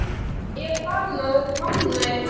Ég er farinn að blána í framan.